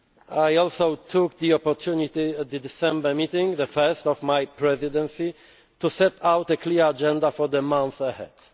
them. I also took the opportunity at the December meeting the first of my presidency to set out a clear agenda for the months ahead.